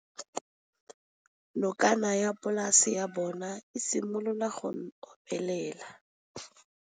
Nokana ya polase ya bona, e simolola go omelela.